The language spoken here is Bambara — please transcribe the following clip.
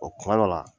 O kuma dɔ la